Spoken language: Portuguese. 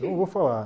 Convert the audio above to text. Então eu vou falar.